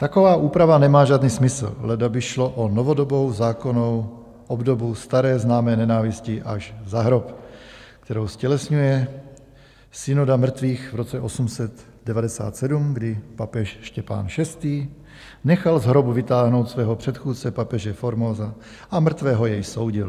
Taková úprava nemá žádný smysl, leda by šlo o novodobou zákonnou obdobu staré známé nenávisti až za hrob, kterou ztělesňuje synoda mrtvých v roce 897, kdy papež Štěpán VI. nechal z hrobu vytáhnout svého předchůdce papeže Formosa a mrtvého jej soudil.